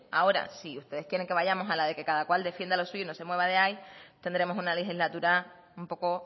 ahora si ustedes quieren que vayamos a la de que cada cual defienda lo suyo y no se mueva de ahí tendremos una legislatura un poco